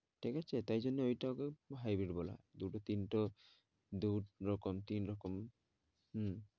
ঠিক আছে, তাই জন্যে ওই টা কে hybrid বলে দুটো-তিনটে ও দু-রকম, তিন রকম হম